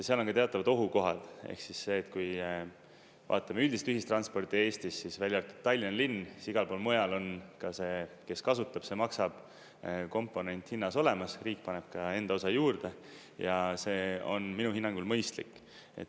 Seal on ka teatavad ohukohad ehk siis see, et kui vaatame üldist ühistransporti Eestis, siis, välja arvatud Tallinna linn, siis igal pool mujal on ka see "kes kasutab, see maksab"-komponent hinnas olemas, riik paneb ka enda osa juurde ja see on minu hinnangul mõistlik.